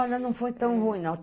Olha, não foi tão ruim não.